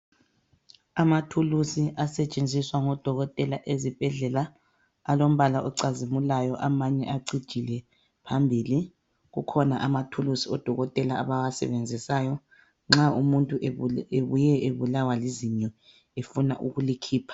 Amathulusi asetshenziswa ngodokotela ezibhedlela alombala ocazimulayo amanye acijile phambili kukhona amathulusi odokotela abawasebenzisayo nxa umuntu ebuye ebulawa lizinyo efuna ukulikhipha.